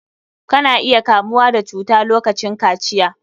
Ka na iya kamuwa da cuta lokacin kaciya.